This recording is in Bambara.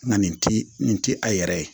Nka nin ti nin ti a yɛrɛ ye